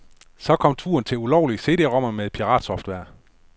Så kom turen til ulovlige CDromer med piratsoftware.